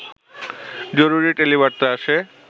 জরুরি টেলিবার্তা আসে